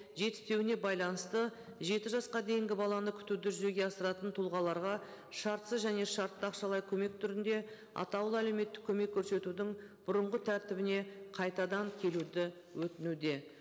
жетіспеуіне байланысты жеті жасқа дейінгі баланы күтуді жүзеге асыратын тұлғаларға шартсыз және шартты ақшалай көмек түрінде атаулы әлеуметтік көмек көрсетудің бұрынғы тәртібіне қайтадан келуді өтінуде